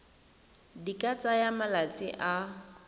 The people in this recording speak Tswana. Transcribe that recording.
di ka tsaya malatsi a